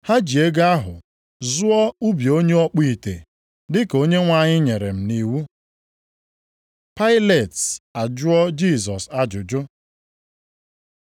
Ha ji ego ahụ zụọ ubi onye ọkpụ ite, dị ka Onyenwe anyị nyere m iwu.” + 27:10 \+xt Zek 11:12,13; Jer 19:1-13; 32:6-9\+xt* Pailet ajụọ Jisọs ajụjụ